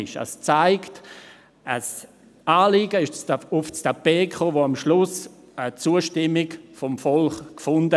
Somit kam ein Anliegen aufs Tapet, welches am Schluss die Zustimmung des Volkes fand.